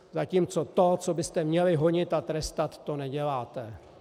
Zatímco to, co byste měli honit a trestat, to neděláte.